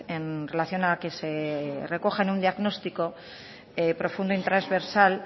en relación a que se recoja en un diagnóstico profundo y trasversal